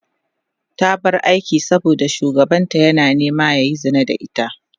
ta bar aikin saboda shugabanta ya nema yayi Zina da ita